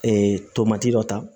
Ee tomati dɔ ta